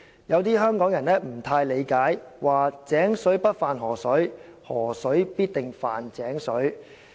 有的香港人不大理解，說：'井水不犯河水，河水必定犯井水'。